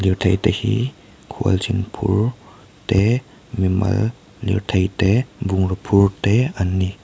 lirthei te hi khualzin phur te mimal lirthei te bungraw phur te an ni.